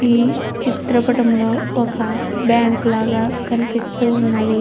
ఈ చుత్రం పటం లో వక బ్యాంకు లాగా కనపడుతునది.